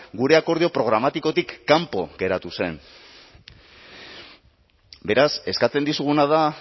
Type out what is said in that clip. gure akordio programatikotik kanpo geratu zen beraz eskatzen dizuguna da